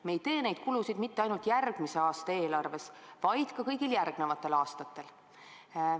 Me ei tee neid kulutusi mitte ainult järgmise aasta eelarves, vaid ka kõigil järgnevatel aastatel.